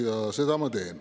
Ja seda ma teen.